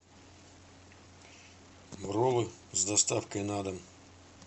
роллы с доставкой на дом